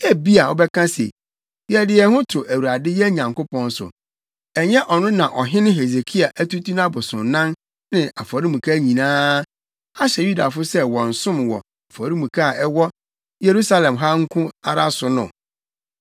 Ebia wobɛka se, “Yɛde yɛn ho to Awurade, yɛn Nyankopɔn so!” Ɛnyɛ ɔno na ɔhene Hesekia atutu nʼabosonnan ne afɔremuka nyinaa, ahyɛ Yudafo sɛ wɔnsom wɔ afɔremuka a ɛwɔ Yerusalem ha nko ara so no?